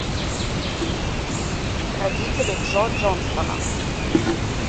родители джо джонстона